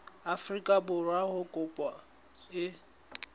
afrika borwa ha kopo e